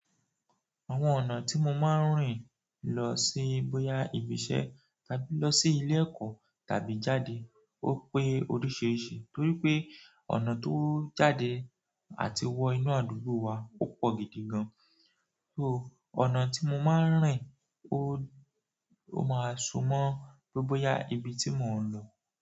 Àwọn ọ̀nà tí mo máa ń rìn lọ sí bóyá ibi iṣẹ́ tàbí lọ sí ilé ẹ̀kọ́ tàbí jáde ó pé oríṣiríṣi, torí pé ọ̀nà tó jáde àti wọ inú àdúgbò wa ó pọ̀ gidi gan. So ọ̀nà tí mo máa ń rìn ó, ó máa súmọ́ bóyá ibi tí mò ń lọ.